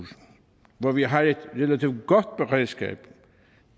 hvor vi har et relativt godt beredskab